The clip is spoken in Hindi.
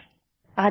फ़ोन